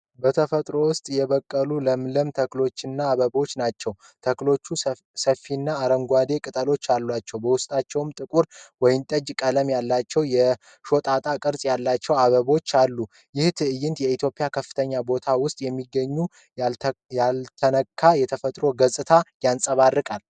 በተፈጥሮ ውስጥ የበቀሉ ለምለም ተክሎችንና አበባዎችን ናቸው። ተክሎቹ ሰፋፊና አረንጓዴ ቅጠሎች አሏቸው። በውስጣቸውም ጥቁር ወይንጠጅ ቀለም ያላቸው የሾጣጣ ቅርጽ ያላቸው አበቦች አሉ። ይህ ትዕይንት የኢትዮጵያን ከፍተኛ ቦታዎች ውስጥ የሚገኘውን ያልተነካ የተፈጥሮ ገጽታ ያንፀባርቃል።